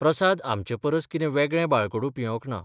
प्रसाद आमचे परस कितें वेगळें बाळकडूं पियेवंक ना.